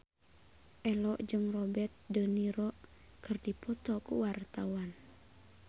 Ello jeung Robert de Niro keur dipoto ku wartawan